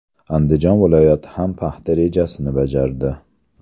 Andijon viloyati ham paxta rejasini bajardi.